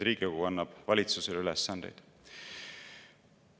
Riigikogu annab valitsusele ülesandeid.